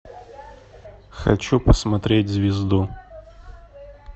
хочу посмотреть звезду